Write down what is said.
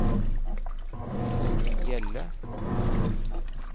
Torunn Hjelle